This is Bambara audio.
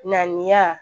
Ŋaniya